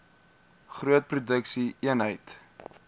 groot produksie eenhede